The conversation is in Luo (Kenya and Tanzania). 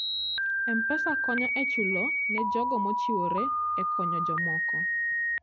M-Pesa konyo e chulo ne jogo mochiwore e konyo jomoko.